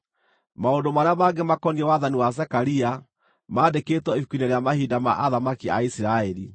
Maũndũ marĩa mangĩ makoniĩ wathani wa Zekaria, mandĩkĩtwo ibuku-inĩ rĩa mahinda ma athamaki a Isiraeli.